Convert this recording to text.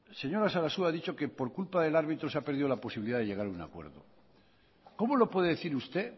señora sarasua ha dicho que por culpa del árbitro se ha perdido la posibilidad de llegar a un acuerdo cómo lo puede decir usted